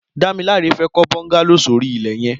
Damilola fè kọ bọngàló sóri ilẹ yẹ̀n